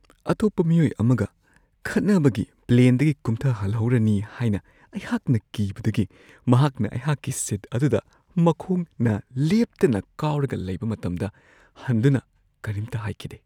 ꯑꯇꯣꯞꯄ ꯃꯤꯑꯣꯏ ꯑꯃꯒ ꯈꯠꯅꯕꯒꯤ ꯄ꯭ꯂꯦꯟꯗꯒꯤ ꯀꯨꯝꯊꯍꯜꯍꯧꯔꯅꯤ ꯍꯥꯏꯅ ꯑꯩꯍꯥꯛꯅ ꯀꯤꯕꯗꯒꯤ ꯃꯍꯥꯛꯅ ꯑꯩꯍꯥꯛꯀꯤ ꯁꯤꯠ ꯑꯗꯨꯗ ꯃꯈꯣꯡꯅ ꯂꯦꯞꯇꯅ ꯀꯥꯎꯔꯒ ꯂꯩꯕ ꯃꯇꯝꯗ ꯍꯟꯗꯨꯅ ꯀꯔꯤꯝꯇ ꯍꯥꯏꯈꯤꯗꯦ ꯫